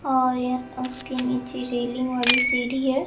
और उसके नीचे रेलिंग वाली सीढ़ी है।